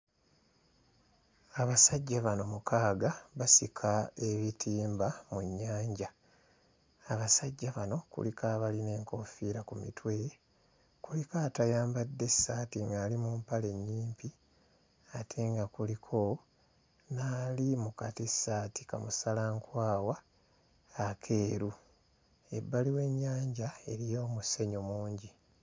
Abasajja bano mukaaga basika ebitimba mu nnyanja. Abasajja bano kuliko abalina enkoofiira ku mitwe, kuliko atayambadde ssaati ng'ali mu mpale nnyimpi ate nga kuliko n'ali mu katissaati ka musalankwawa akeeru. Ebbali w'ennyanja eriyo omusenyu mungi.